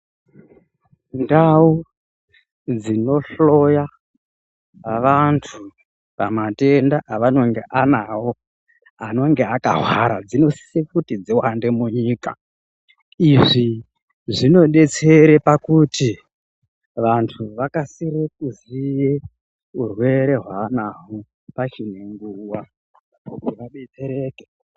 Ndau dzinohloya vantu pamatenda avanonge anayo anonge akahwara dzinosise kuti dziwande munyika. Izvi zvinodetsere pakuti vantu vakasire kuziye urwere hwaanahwo pachine nguwa kuti abetsereke.